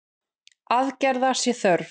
Aðgerða sé þörf.